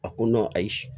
A ko ayi